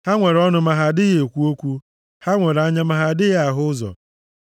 Ha nwere ọnụ ma ha adịghị ekwu okwu, ha nwere anya ma ha adịghị ahụ ụzọ.